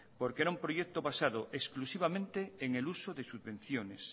porque era un proyecto basado exclusivamente en el uso de subvenciones